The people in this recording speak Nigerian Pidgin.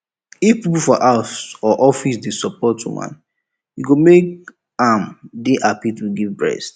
if people for house or office dey support woman e go make am dey happy to give breast